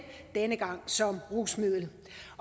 denne gang som rusmiddel